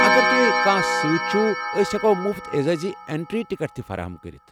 اگر تُہۍ کٲنٛہہ سۭتۍ چھُو ٲسۍ ہیٚکَو مُفت اعزازی انٹری ٹکٹ تہِ فراہم کٔرِتھ ۔